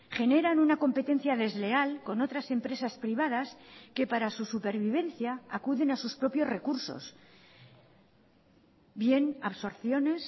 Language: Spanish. generan una competencia desleal con otras empresas privadas que para su supervivencia acuden a sus propios recursos bien absorciones